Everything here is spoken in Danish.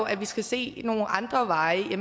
at vi skal se nogle andre veje